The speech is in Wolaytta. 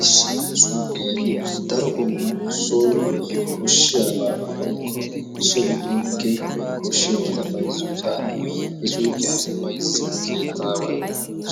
Issi suyqiyan daro qommo soon koshshiyaaba woykko so giddon keehippe koshshiyaabata bayzziyoosan he suyqiya bayzziya keettaaway